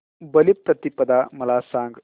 बलिप्रतिपदा मला सांग